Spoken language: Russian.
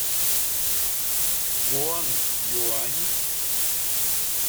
гуанъюань